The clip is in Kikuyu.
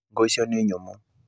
Ngũ icio nĩ nyũmũ.